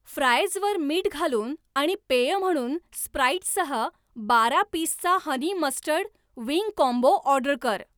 फ्रायजवर मीठ घालून आणि पेय म्हणून स्प्राइटसह बारा पीसचा honey mustard wing combo order कर